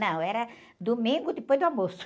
Não, era domingo depois do almoço.